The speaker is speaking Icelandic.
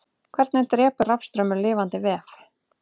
hvernig drepur rafstraumur lifandi vef